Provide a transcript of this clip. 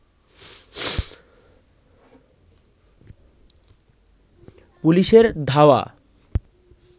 পুলিশের ধাওয়া